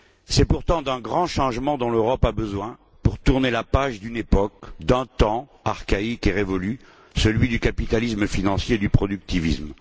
C'est pourtant d'un grand changement dont l'Europe a besoin pour tourner la page d'une époque, d'un temps archaïque et révolu, celui du capitalisme financier et du productivisme.